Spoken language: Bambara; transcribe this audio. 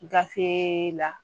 Gafe la